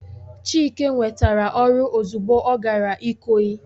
Chike nwetara oru ozugbo o gara ikoyi